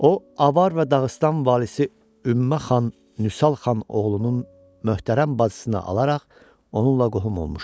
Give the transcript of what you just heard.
O avar və Dağıstan valisi Ümmə xan Nüsal xan oğlunun möhtərəm bacısını alaraq onunla qohum olmuşdu.